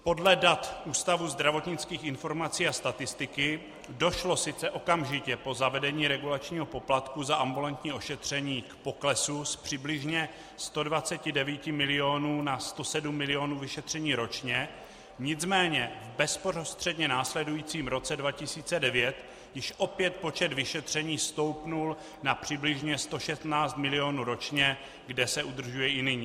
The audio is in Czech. Podle dat Ústavu zdravotnických informací a statistiky došlo sice okamžitě po zavedení regulačního poplatku za ambulantní ošetření k poklesu z přibližně 129 milionů na 107 milionů vyšetření ročně, nicméně v bezprostředně následujícím roce 2009 již opět počet vyšetření stoupl na přibližně 116 milionů ročně, kde se udržuje i nyní.